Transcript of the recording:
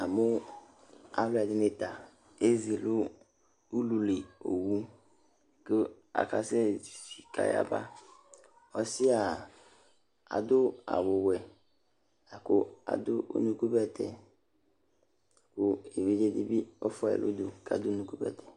Amu aluɛdini ta ezi nu ʊlʊlɩ owu ku akasɛsɛ zizi k'ayaba Ɔsia adu awu wɛ laku adu unuku bɛtɛ, ku evidze dibi ɔfuayi n'udu kadu unuku bɛtɛ